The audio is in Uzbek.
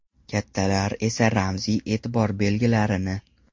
Kattalar esa ramziy e’tibor belgilarini.